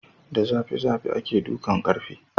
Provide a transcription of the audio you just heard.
Da zafi zafi ake dukan ƙarfe